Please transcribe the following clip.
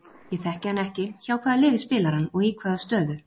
Ég þekki hann ekki, hjá hvaða liði spilar hann og í hvaða stöðu?